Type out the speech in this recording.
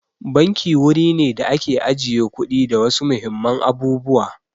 Banki wuri ne da ake ajiye kuɗi da wasu muhimman abubuwa.